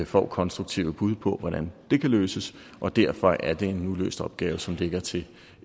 får konstruktive bud på hvordan det kan løses og derfor er det en uløst opgave som ligger til